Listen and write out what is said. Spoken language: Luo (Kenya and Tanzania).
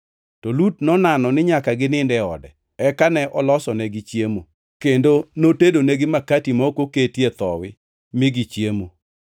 To Lut nonano ni nyaka ginind e ode. Eka ne olosonegi chiemo, kendo notedonigi makati ma ok oketie thowi mi gichiemo.